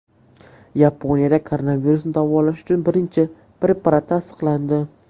Yaponiyada koronavirusni davolash uchun birinchi preparat tasdiqlandi.